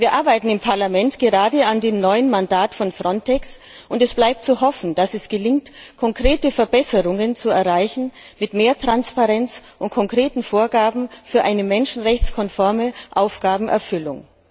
Wir arbeiten im Parlament gerade an dem neuen Mandat von Frontex und es bleibt zu hoffen, dass es gelingt, konkrete Verbesserungen zu erreichen mit mehr Transparenz und konkreten Vorgaben für eine menschenrechtskonforme Aufgabenerfüllung.